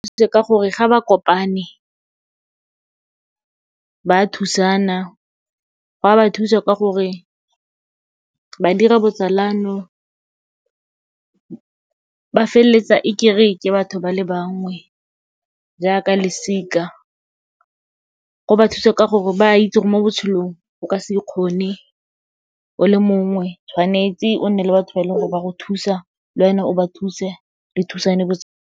Go thusitse ka gore ga ba kopane, ba thusana. Go a ba thusa ka gore, ba dira botsalano, ba feleletsa e ke re ke batho ba le bangwe, jaaka losika. Go ba thusa ka gore, ba itse gore mo botshelong, o ka se ikgone o le mongwe, tshwanetse o nne le batho ba e leng gore ba go thusa, lwena o ba thuse, le thusane .